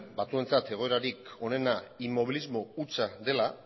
batzuentzat egoerarik onena inmobilismo hutsa dela